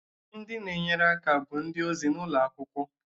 Ndị na-enyere aka bụ ndị ozi nọ n'ụlọ akwụkwọ